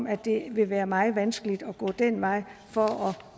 at det vil være meget vanskeligt at gå den vej for